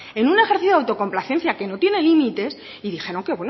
en un ejercicio de autocomplacencia que no tiene límites y dijeron que